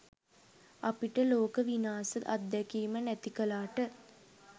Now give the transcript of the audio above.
අපිට ලෝක විනාස අත්දැකීම නැති කලාට